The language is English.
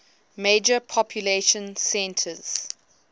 major population centers